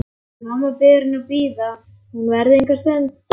Mamma biður hann að bíða, hún verði enga stund.